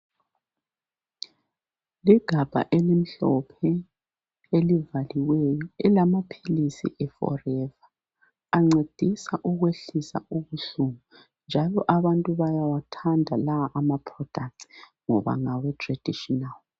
Ligabha elimhlophe elivaliweyo lamaphilisi eforever ancedisa ukwehlisa ubuhlungu njalo abantu bayawathanda la ama products ngoba ngawe traditional.